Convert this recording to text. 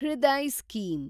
Hriday scheme